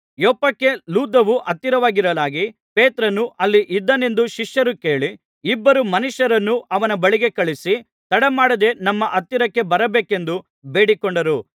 ಯೊಪ್ಪಕ್ಕೆ ಲುದ್ದವು ಹತ್ತಿರವಾಗಿರಲಾಗಿ ಪೇತ್ರನು ಅಲ್ಲಿ ಇದ್ದಾನೆಂದು ಶಿಷ್ಯರು ಕೇಳಿ ಇಬ್ಬರು ಮನುಷ್ಯರನ್ನು ಅವನ ಬಳಿಗೆ ಕಳುಹಿಸಿ ತಡಮಾಡದೆ ನಮ್ಮ ಹತ್ತಿರಕ್ಕೆ ಬರಬೇಕೆಂದು ಬೇಡಿಕೊಂಡರು